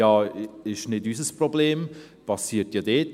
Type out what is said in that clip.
«Das ist nicht unser Problem, es passiert ja dort.»